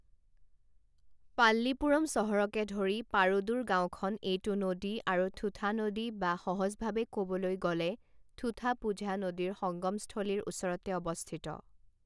পাল্লীপুৰম চহৰকে ধৰি পাৰুদুৰ গাঁওখন এইটো নদী আৰু থুঠা নদী বা সহজভাৱে ক'বলৈ গ'লে থুথাপুঝা নদীৰ সংগমস্থলীৰ ওচৰতে অৱস্থিত।